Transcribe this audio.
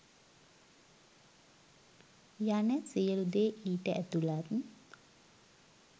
යන සියළු දේ ඊට ඇතුලත්.